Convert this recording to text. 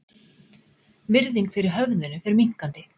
Virðing fyrir höfðinu fer minnkandi